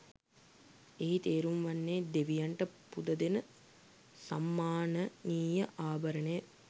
එහි තේරුම් වන්නේ දෙවියන්ට පුදදෙන සම්මානනීය ආභරණය